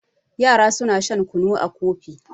yara suna shan kunu a Kofi